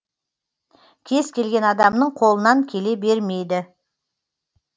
кез келген адамның қолынан келе бермейді